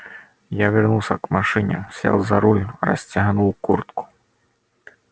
я вернулся к машине сел за руль расстегнул куртку